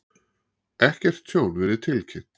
Ekkert tjón verið tilkynnt